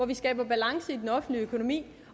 vi skaber balance i den offentlige økonomi